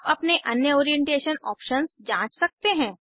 आप अपने अन्य ओरिएंटेशन ऑप्शन्स जाँच सकते हैं